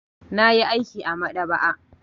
Na yi aiki a maɗaba'a.